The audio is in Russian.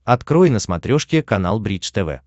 открой на смотрешке канал бридж тв